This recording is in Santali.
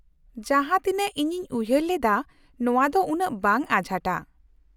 -ᱡᱟᱦᱟᱸ ᱛᱤᱱᱟᱹᱜ ᱤᱧᱤᱧ ᱩᱭᱦᱟᱹᱨ ᱞᱮᱫᱟ ᱱᱚᱶᱟ ᱫᱚ ᱩᱱᱟᱹᱜ ᱵᱟᱝ ᱟᱸᱡᱷᱟᱴᱟ ᱾